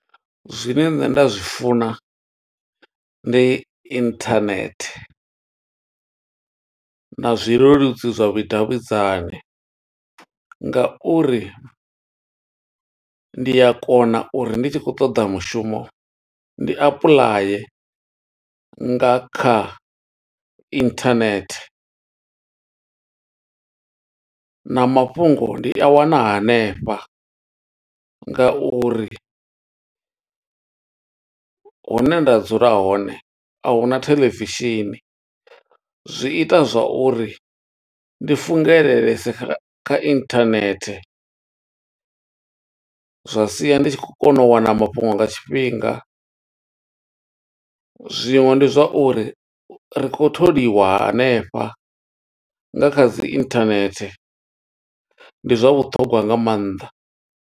Zwine nṋe nda zwi funa, ndi inthanethe na zwileludzi zwa vhudavhidzani nga uri ndi a kona uri ndi tshi khou ṱoḓa mushumo, ndi apuḽaya nga kha internet. Na mafhungo ndi a wana hanefha, nga uri hune nda dzula hone ahuna theḽevishini. Zwi ita zwa uri ndi fungelelese kha kha internet, zwa sia ndi tshi khou kona u wana mafhungo nga tshifhinga. Zwiṅwe ndi zwa uri, ri khou tholiwa hanefha nga kha dzi internet. Ndi zwa vhuṱhongwa nga mannḓa.